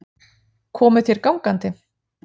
Komuð þér gangandi?